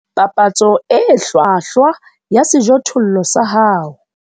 Papatso e hlwahlwa ya sejothollo sa hao.